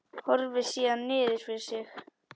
Horfir síðan niður fyrir sig.